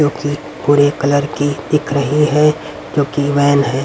जो की भुरे कलर की दिख रही है क्योंकी व्हैन है।